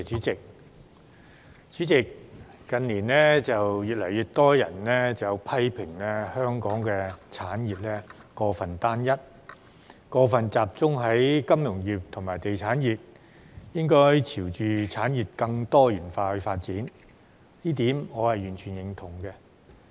主席，近年越來越多人批評香港產業過分單一，以及過分集中於金融業和地產業，應該朝向產業更多元化發展，這一點我完全認同。